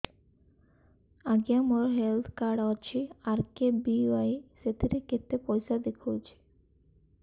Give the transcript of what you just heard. ଆଜ୍ଞା ମୋର health card ଅଛି ଆର୍.କେ.ବି.ୱାଇ ସେଥିରେ କେତେ ପଇସା ଦେଖଉଛି